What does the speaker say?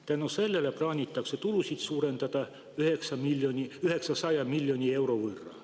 Tänu sellele plaanitakse tulusid suurendada 900 miljoni euro võrra.